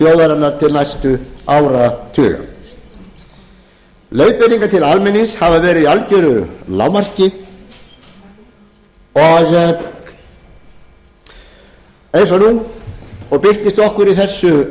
þjóðarinnar til næstu áratuga leiðbeiningar til almennings hafa verið í algeru lágmarki eins og nú og birtist okkur í þessu